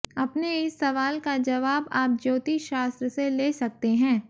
अपने इस सवाल का जवाब आप ज्योतिशास्त्र से ले सकते हैं